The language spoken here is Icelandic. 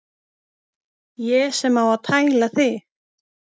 Ég sem á að tæla þig.